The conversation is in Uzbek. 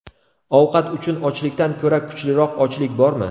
Ovqat uchun ochlikdan ko‘ra kuchliroq ochlik bormi?